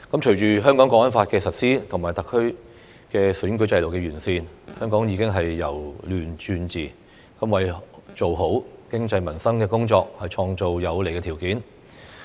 隨着《香港國安法》的實施和特區選舉制度的完善，香港已由亂轉治，為做好經濟民生工作創造有利條件。